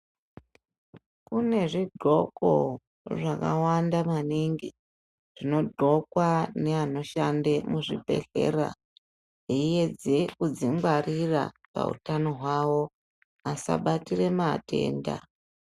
Kune zvidxoko zvakawanda maningi zvinodxokwa neanoshande muzvibhedhlera eiedze kuzvingwarira pautano hwawo asabatira matenda.